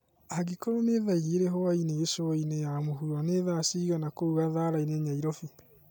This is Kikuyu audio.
angĩkorwo ni thaaĩgĩrĩ hwaĩnĩ gicũaĩnĩ ya mũhũro ni thaa cĩĩgana kũũ gatharaini Nyairobi